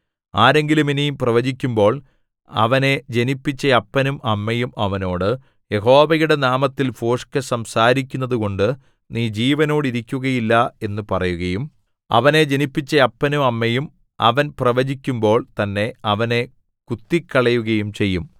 ആരെങ്കിലും ഇനി പ്രവചിക്കുമ്പോൾ അവനെ ജനിപ്പിച്ച അപ്പനും അമ്മയും അവനോട് യഹോവയുടെ നാമത്തിൽ ഭോഷ്ക്കു സംസാരിക്കുന്നതുകൊണ്ടു നീ ജീവനോടിരിക്കുകയില്ല എന്നു പറയുകയും അവനെ ജനിപ്പിച്ച അപ്പനും അമ്മയും അവൻ പ്രവചിക്കുമ്പോൾ തന്നെ അവനെ കുത്തിക്കളയുകയും ചെയ്യും